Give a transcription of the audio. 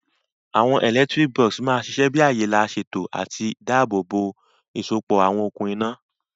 Àwon electrical box ma sisẹ bi àyè lá sèto àti dáàbò bò ìsopọ̀ àwon okùn iná